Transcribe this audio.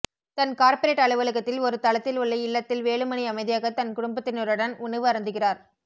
தன் corporate அலுவலகத்தில் ஒரு தளத்தில் உள்ள இல்லத்தில் வேலுமணி அமைதியாக தன் குடும்பத்தினருடன் உணவு அருந்துகிறார்